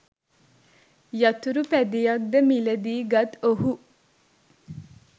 යතුරු පැදියක්‌ද මිලදී ගත් ඔහු